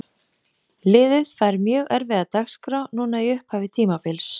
Liðið fær mjög erfiða dagskrá núna í upphafi tímabils.